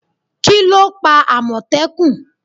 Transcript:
Kíló pa àmọ̀tẹ́kùn?